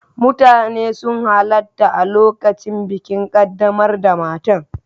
Mutane sun halarta a lokacin bikin kaddamar da matar.